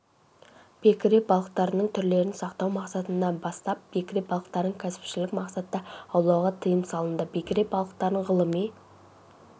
бекіре балықтарының түрлерін сақтау мақсатында бастап бекіре балықтарын кәсіпшілік мақсатта аулауға тыйым салынды бекіре балықтарын ғылыми